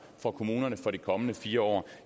for kommunerne for de kommende fire år